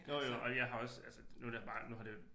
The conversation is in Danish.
Jo jo og jeg har også altså nu det bare nu har det